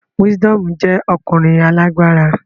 Wisdomu jẹ ọkunrin alagbara